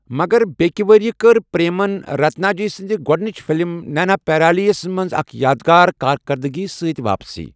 مگر بیٛکہِ ؤرۍ یہِ کٔر پریمَن رتناجا سٕنٛدِ گۄڈٕنِچ فلم نیناپیرالی یَس منٛز اکھ یادگار کارکردٕگی سۭتۍ واپسی۔